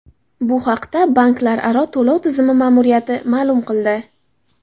Bu haqda banklararo to‘lov tizimi ma’muriyati ma’lum qildi .